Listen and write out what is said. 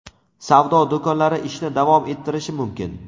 savdo do‘konlari ishni davom ettirishi mumkin.